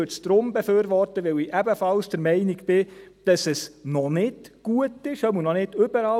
Ich würde es darum befürworten, weil ich ebenfalls der Meinung bin, dass es noch nicht gut ist, zumindest noch nicht überall.